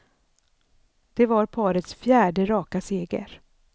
Det var parets fjärde raka seger.